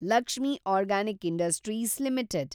Lakshmi organic industries limited